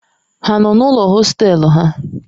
Ha nọ n'ụlọ hostelu ha?